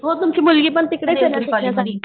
हो तुमची मुलगी पण तिकडेच ना